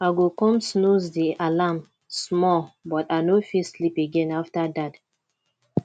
i go come snooze di alarm small but i no fit sleep again after that